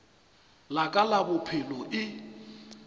la ka la bophelo e